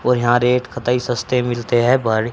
और यहाँ रेट कतइ सस्ते मिलते हैं बरे--